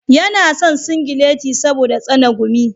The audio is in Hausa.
Yana son singileti saboda tsane gumi.